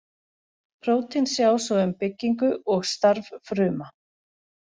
Prótín sjá svo um byggingu og starf fruma.